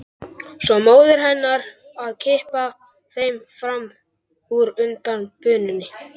Svo móðir hennar að kippa þeim fram úr undan bununni.